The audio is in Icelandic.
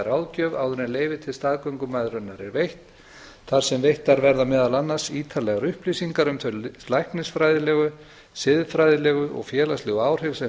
ráðgjöf áður en leyfi til staðgöngumæðrunar er veitt þar sem veittar verða meðal annars ítarlegar upplýsingar um þau læknisfræðilegu siðfræðilegu og félagslegu áhrif sem